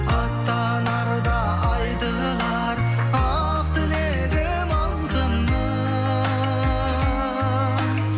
аттанарда айтылар ақ тілегім алтыным